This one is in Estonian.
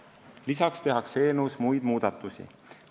Lisaks tehakse eelnõus muid muudatusi.